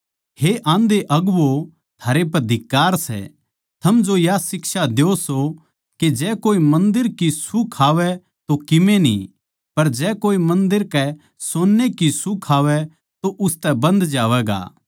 हे आंधे अगुवो थारै पै धिक्कार सै थम जो या शिक्षा द्यो सो के जै कोए मन्दर की सूह खावै तो किमे न्ही पर जै कोए मन्दर कै सोन्ने की सूह खावै तो उसतै बन्ध जावैगा